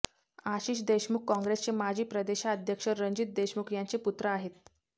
आशिष देशमुख काँग्रेसचे माजी प्रदेशाध्यक्ष रणजित देशमुख यांचे पुत्र आहेत